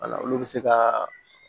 Wala olu bɛ se ka